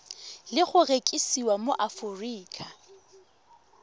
le go rekisiwa mo aforika